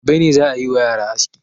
Gobe ne za a yi wa yara aski.